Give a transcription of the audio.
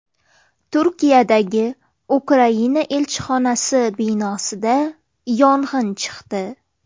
Turkiyadagi Ukraina elchixonasi binosida yong‘in chiqdi .